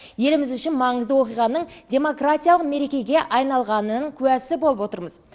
еліміз үшін маңызды оқиғаның демократиялық мерекеге айналғанының куәсі болып отырмыз